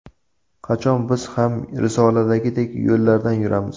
Qachon biz ham risoladagidek yo‘llardan yuramiz?